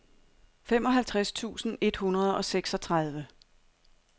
femoghalvtreds tusind et hundrede og seksogtredive